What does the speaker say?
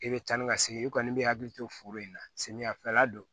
I bɛ taa ni ka segin i kɔni bɛ hakili to foro in na samiyafɛla don